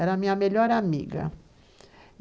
Era a minha melhor amiga.